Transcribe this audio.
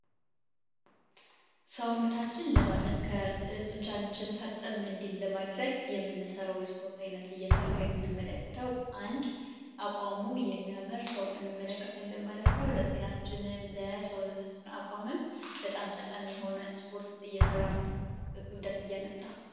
ሰውነታችን ለማጠንከር ጡንቻችን ፈርጠም እንዴል ለማድረግ የምንሰራው የስፖርት ዓይነት እየሰራ የምንመለከተው አንድ አቋሙ የሚያመር ሰው እንመለከታለን ማለት ነው። ለጤናችንም ለሰውነታችን አቋመም በጣም ጠቃሚ የሆነ ስፖርት እየሰራ ነው ክብደት እያነሳ ነው።